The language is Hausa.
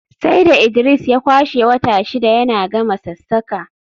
sai da Idris ya kwashe wata shida yana gama sassaƙa